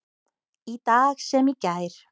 Í dag sem í gær.